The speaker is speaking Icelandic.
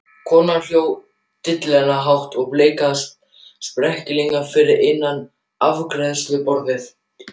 Konan hló dillandi hlátri og blikkaði sperrilegginn fyrir innan afgreiðsluborðið.